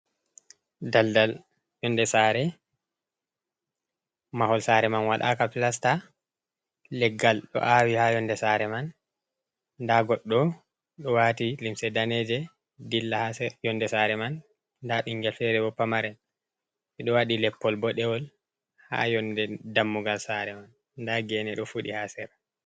Daldal yonde sare mahol sare man wadaka plasta, leggal do awi ha yonde sare man da goddo do wati limse daneje dilla ha yonde sare man da bingal fere pamarel bedo wadi leppol bodewol ha yonde dammugal sare man da gene do fudi ha sera.